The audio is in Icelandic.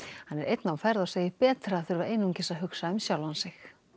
hann er einn á ferð og segir betra að þurfa einungis að hugsa um sjálfan sig